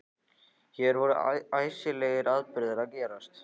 Hér voru æsilegir atburðir að gerast.